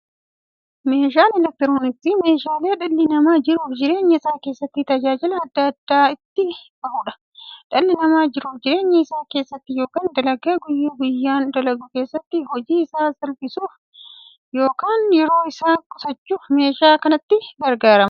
Meeshaaleen elektirooniksii meeshaalee dhalli namaa jiruuf jireenya isaa keessatti, tajaajila adda addaa itti bahuudha. Dhalli namaa jiruuf jireenya isaa keessatti yookiin dalagaa guyyaa guyyaan dalagu keessatti, hojii isaa salphissuuf yookiin yeroo isaa qusachuuf meeshaalee kanatti gargaarama.